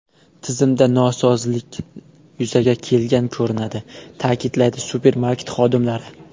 Tizimda nosozlik yuzaga kelgan ko‘rinadi”, ta’kidlaydi supermarket xodimlari.